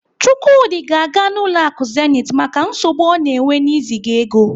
Chukwudi ga-aga ụlọ akụ Zenith maka nsogbu ọ na-enwe n'iziga ego.